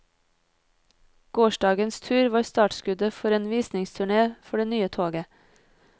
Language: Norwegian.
Gårsdagens tur var startskuddet for en visningsturné for det nye toget.